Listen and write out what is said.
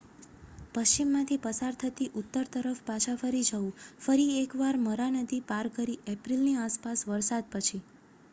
પશ્ચિમમાંથી પસાર થતી ઉત્તર તરફ પાછા ફરવું ફરી એક વાર મરા નદી પાર કરી એપ્રિલની આસપાસ વરસાદ પછી